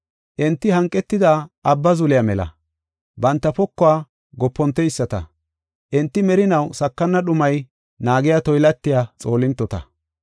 Enti hanqetida abba zuliya mela banta pokuwa goponteyisata. Enti merinaw sakana dhumay naagiya toylatiya xoolintota.